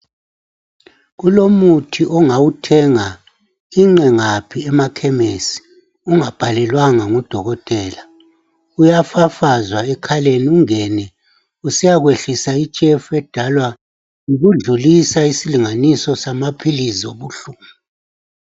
Kulomuthi ongawuthenga inqe ngaphi emakhemesi ungabhalelwanga ngudokotela. Uyafafazwa ekhaleni ungene usiyakwehlisa itshefu edalwa yikudlulisa isilinganiso samaphilizi obuhlungu.